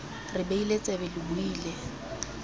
re beile tsebe lo buile